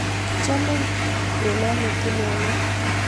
Kichomee kolanye tulondok